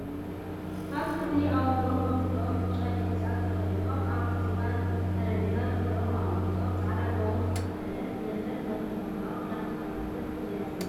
ኣብ ክፍሊ ኣብ ወንበሮም ኮፍ ኢሎም ብጫ ዲብዛ ተከዲኖም ኣብ ዝባን ጠሬጰዛ ደብፍተሮም ኣቀሚጦም ፃዕዳ ጋቦን ዝተኸደነት መምህር ነቶም ተማሃሮኣ እንዳተከታተለት እያ ዘላ።